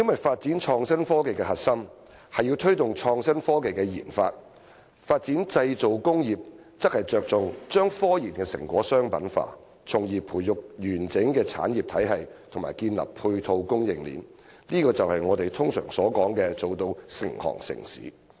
發展創新科技的核心是要推動創新科技的研發；而發展製造工業則着重將科研成果商品化，從而培育完整的產業體系和建立配套供應鏈，這就是我們通常所說的做到"成行成市"。